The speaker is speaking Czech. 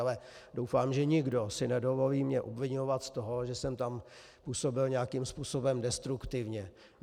Ale doufám, že nikdo si nedovolí mě obviňovat z toho, že jsem tam působil nějakým způsobem destruktivně.